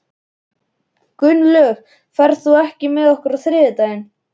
Gunnlöð, ferð þú með okkur á þriðjudaginn?